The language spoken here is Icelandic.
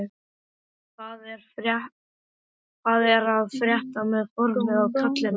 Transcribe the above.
Pétur: Hvað er að frétta með formið á kallinum?